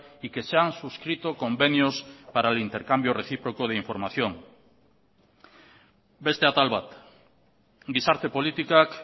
y que se han suscrito convenios para el intercambio recíproco de información beste atal bat gizarte politikak